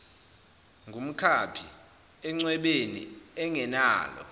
ngumkhaphi encwebeni engenalo